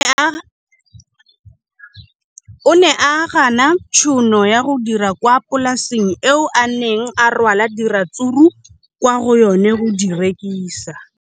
O ne a gana tšhono ya go dira kwa polaseng eo a neng rwala diratsuru kwa go yona go di rekisa.